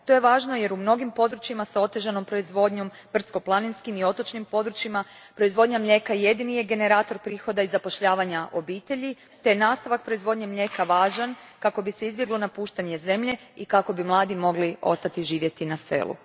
To je važno jer u mnogim područjima s otežanom proizvodnjom, brdsko planinskim i otočnim područjima, proizvodnja mlijeka jedini je generator prihoda i zapošljavanja obitelji te je nastavak proizvodnje mlijeka važan kako bi se izbjeglo napuštanje zemlje i kako bi mladi mogli ostati živjeti na selu.